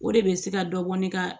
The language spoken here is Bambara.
O de bɛ se ka dɔ bɔ ne ka